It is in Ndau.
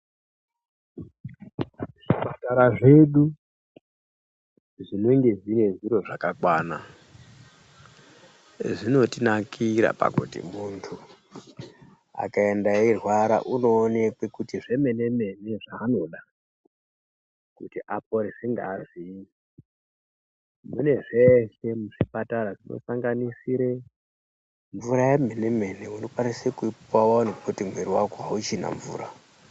Zvipatara zvedu zvinenge zvine zviro zvakakwana zvinotinakira pakuti muntu akaende achirwara unoonekwe kuti zvomene-mene zvaanoda kuti aporeswe munezve muzvipatara zvinosanganisire mvura yomene-mene unokwanisa kupiwa kuti muviri wako hauchina mvura.